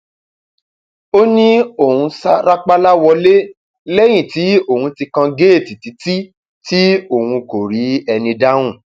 ó ní òun òun ṣáà rápálá wọlé lẹyìn tí òun ti kan géètì títí tí òun kò rí ẹni dáhùn